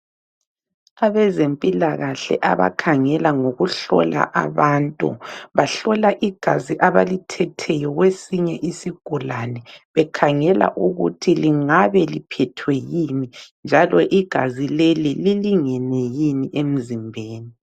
Abezempilakahle abakhangela ngokuhlola abantu. Bahlola igazi abalithetheyo kwesinye isigulane bekhangela ukuthi kungabe liphethwe yini njalo igazi leli lilingene yini emzimbeni.